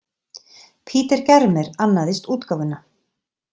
Peter Germer annaðist útgáfuna.